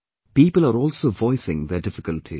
People are also voicing their difficulties